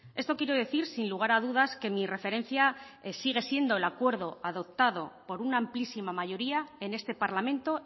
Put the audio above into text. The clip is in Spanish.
esto quiero decir sin lugar a dudas que mi referencia sigue siendo el acuerdo adoptado por una amplísima mayoría en este parlamento